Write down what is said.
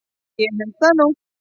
Ég held nú það!